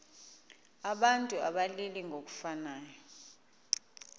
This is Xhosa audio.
abantu abalili ngokufanayo